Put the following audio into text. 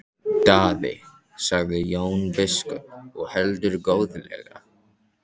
Daði, sagði Jón biskup og heldur góðlega.